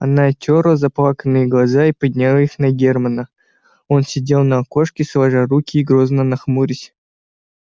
она отёрла заплаканные глаза и подняла их на германна он сидел на окошке сложа руки и грозно нахмурясь